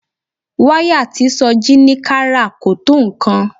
Wáyà tí Sọjí ní ká rà kò tó nǹkan